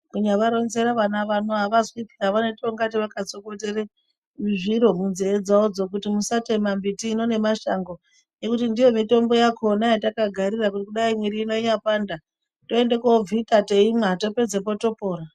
Kunyavaronzera vana vano avazwi, vanoite kunge vakatsokotere zviro munzee dzawodzo kuti musatema mbiti hino nemashango ngekuti ndiyo mitombo yakona yatakagarira ngekudai mwiri inyapanda toende kobvita teimwa topedzepo topona.